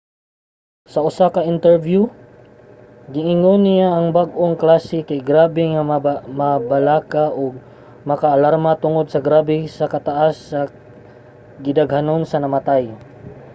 sa usa ka interbiyo giingon niya nga ang bag-ong klase kay grabe nga makabalaka ug maka-alarma tungod sa grabe kataas sa gidaghanon sa namatay.